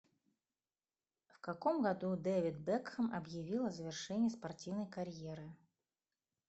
в каком году дэвид бекхэм объявил о завершении спортивной карьеры